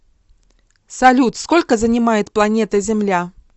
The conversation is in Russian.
салют сколько занимает планета земля